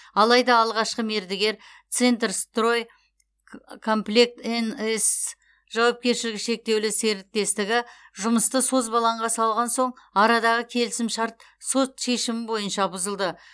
алайда алғашқы мердігер центрстрой комплект нс жауапкершілігі шектеулі серіктестігі жұмысты созбалаңға салған соң арадағы келісімшарт сот шешімі бойынша бұзылды